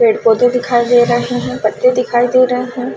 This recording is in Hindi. पेड़ -पौधे दिखाई दे रहे है पत्ते दिखाई दे रहे हैं।